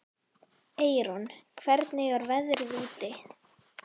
Eyrún, hvernig er veðrið úti?